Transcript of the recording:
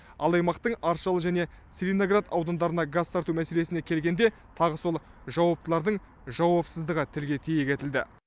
ал аймақтың аршалы және целиноград аудандарына газ тарту мәселесіне келгенде тағы сол жауаптылардың жауапсыздығы тілге тиек етілді